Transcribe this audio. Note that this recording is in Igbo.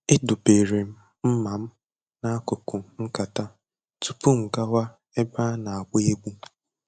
Edobere m mma m n'akụkụ nkata tupu m gawa ebe a na-agba egwu.